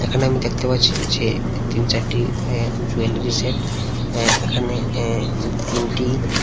এখানে আমি দেখতে পাচ্ছি যে তিন চারটি অ্যা জুয়েলারি সেট অ্যা এখানে অ্যা তিনটি--